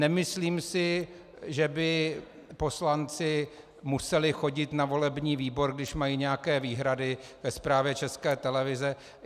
Nemyslím si, že by poslanci museli chodit na volební výbor, když mají nějaké výhrady ke zprávě České televize.